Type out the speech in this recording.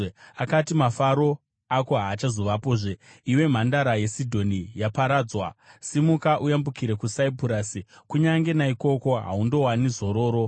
Akati, “Mafaro ako haachazovapozve, iwe mhandara yeSidhoni, yaparadzwa! “Simuka uyambukire kuSaipurasi; Kunyange naikoko haundowani zororo.”